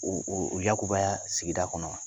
O o yakubaya sigida kɔnɔna.